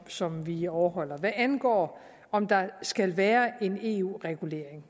som vi overholder hvad angår om der skal være en eu regulering